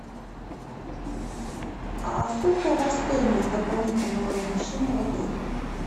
а сколько у вас стоимость дополнительного размещения в отеле